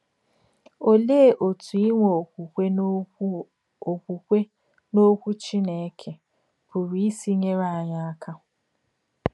Òlèé òtú ínwè òkwùkwè n’Òkwù òkwùkwè n’Òkwù Chínèkè pùrù ísì nyèrè ányị̀ àkà?